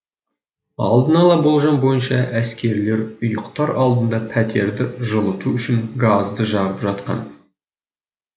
алдын ала болжам бойынша әскерилер ұйықтар алдында пәтерді жылыту үшін газды жағып жатқан